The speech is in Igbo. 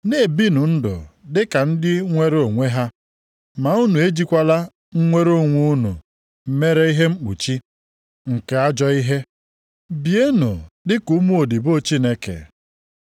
Na-ebinụ ndụ dị ka ndị nwere onwe ha, ma unu ejikwala mnwere onwe unu mere ihe mkpuchi nke ajọ ihe. Bienụ dịka ụmụodibo Chineke.